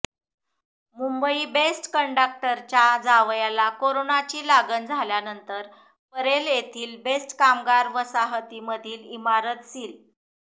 Mumbai BEST कंडक्टरच्या जावयाला कोरोनाची लागण झाल्यानंतर परेल येथील बेस्ट कामगार वसाहतीमधील इमारत सील